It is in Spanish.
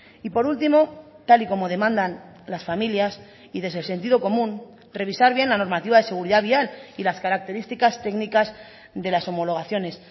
y por último tal y como demandan las familias y desde el sentido común revisar bien la normativa de seguridad vial y las características técnicas de las homologaciones